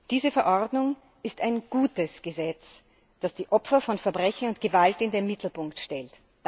Diese Verordnung ist ein gutes Gesetz, das die Opfer von Verbrechen und Gewalt in den Mittelpunkt stellt!